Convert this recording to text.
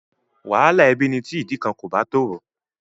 Wàhálà ẹbí ni tí ìdí kan kò bá tòrò.